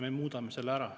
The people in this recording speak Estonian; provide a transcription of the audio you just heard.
Me muudame selle ära.